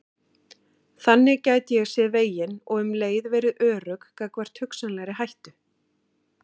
Þannig gæti ég séð veginn og um leið verið örugg gagnvart hugsanlegri hættu.